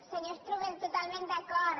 senyor strubell totalment d’acord